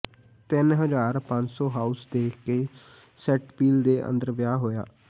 ਤਿੰਨ ਹਜ਼ਾਰ ਪੰਜ ਸੌ ਹਾਊਸ ਦੇਖ ਕੇ ਸੈਂਟ ਪੀਲ ਦੇ ਅੰਦਰੋਂ ਵਿਆਹ ਹੋਇਆ